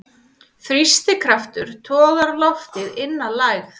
Þrýstikraftur togar loftið inn að lægð.